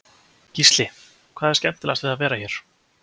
Gísli: Hvað er skemmtilegast við að vera hér?